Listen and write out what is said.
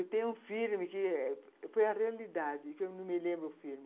E tem um filme que foi a realidade, que eu não me lembro o filme.